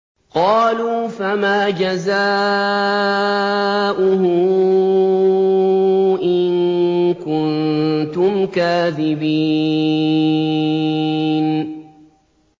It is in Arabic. قَالُوا فَمَا جَزَاؤُهُ إِن كُنتُمْ كَاذِبِينَ